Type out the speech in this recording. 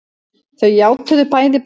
Þau játuðu bæði brot sitt